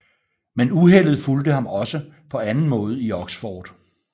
Men uheldet fulgte ham også på anden måde i Oxford